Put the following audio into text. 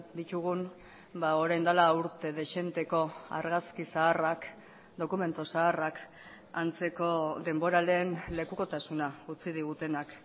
ditugun orain dela urte dezenteko argazki zaharrak dokumentu zaharrak antzeko denboraleen lekukotasuna utzi digutenak